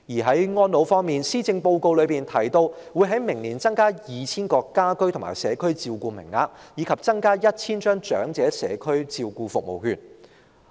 在安老方面，施政報告提到會在明年增加 2,000 個家居及社區照顧名額，以及增加 1,000 張長者社區照顧服務券。